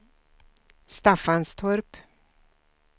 Staffanstorp